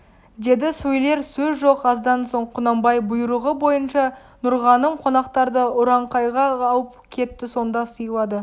деді сөйлер сөз жоқ аздан соң құнанбай бұйрығы бойынша нұрғаным қонақтарды ұранқайға алып кетті сонда сыйлады